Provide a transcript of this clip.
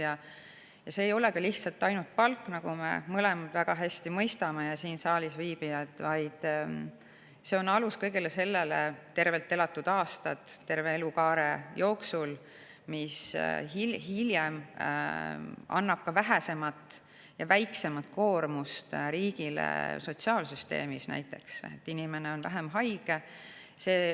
Siin ei ole lihtsalt palk, nagu me mõlemad mõistame ja kõik siin saalis viibijad väga hästi mõistavad, vaid see on alus kõigele sellele – tervelt elatud aastad terve elukaare jooksul –, et hiljem tekitataks vähem koormust riigi sotsiaalsüsteemile, sest inimene on näiteks vähem haige.